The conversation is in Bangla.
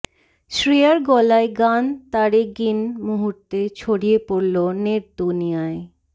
শ্রেয়ার গলায় গান তারে গিন মুহূর্তে ছড়িয়ে পড়ল নেট দুনিয়ায়